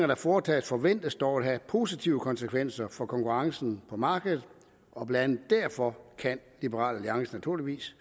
der foretages forventes dog at have positive konsekvenser for konkurrencen på markedet og blandt andet derfor kan liberal alliance naturligvis